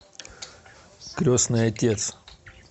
крестный отец